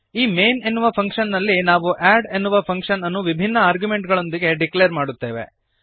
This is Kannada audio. ಈ ಮೈನ್ ಎನ್ನುವ ಫಂಕ್ಶನ್ ನಲ್ಲಿ ನಾವು ಅಡ್ ಎನ್ನುವ ಫಂಕ್ಶನ್ ಅನ್ನು ವಿಭಿನ್ನ ಆರ್ಗ್ಯುಮೆಂಟುಗಳೊಂದಿಗೆ ಡಿಕ್ಲೇರ್ ಮಾಡುತ್ತೇವೆ